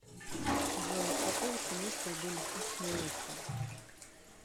джой из какого семейства были хищные осы